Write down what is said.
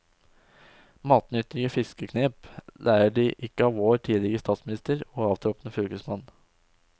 Matnyttige fiskeknep lærer de ikke av vår tidligere statsminister og avtroppende fylkesmann.